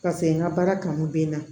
Paseke n ka baara kanu bɛ n na